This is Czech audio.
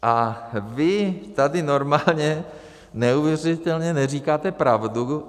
A vy tady normálně neuvěřitelně neříkáte pravdu.